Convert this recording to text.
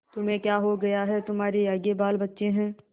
तुम्हें क्या हो गया है तुम्हारे आगे बालबच्चे हैं